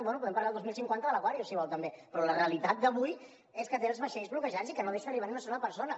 bé podem parlar el dos mil cinquanta de l’la realitat d’avui és que té els vaixells bloquejats i que no deixa arribar ni una sola persona